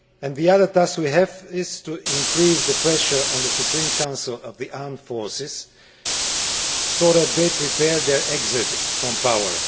The other task we have is to increase the pressure on the Supreme Council of the Armed Forces so that they prepare their exit from power.